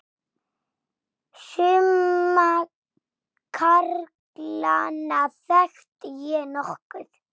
Suma karlana þekkti ég nokkuð.